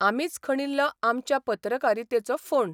आमीच खणिल्लो आमचे पत्रकारितेचो फोंड.